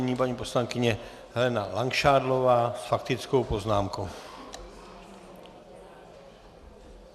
Nyní paní poslankyně Helena Langšádlová s faktickou poznámkou.